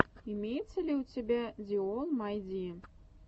имеется ли у тебя ди олл май ди